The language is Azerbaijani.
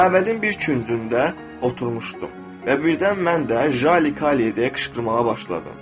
Məbədin bir küncündə oturmuşdu və birdən mən də Jali Kali deyə qışqırmağa başladım.